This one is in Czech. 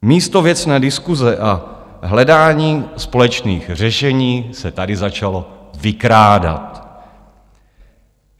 Místo věcné diskuse a hledání společných řešení se tady začalo vykrádat.